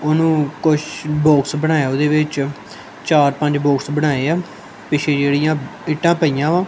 ਉਹਨੂੰ ਕੁਛ ਬੋਕਸ ਬਣਾਇਆ ਉਹਦੇ ਵਿੱਚ ਚਾਰ ਪੰਜ ਬੋਕਸ ਬਣਾਏ ਆ ਪਿੱਛੇ ਜਿਹੜੀਆਂ ਇੱਟਾਂ ਪਈਆਂ ਵਾ।